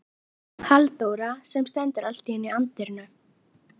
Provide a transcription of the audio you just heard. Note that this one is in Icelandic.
Halldóra sem stendur allt í einu í dyrunum.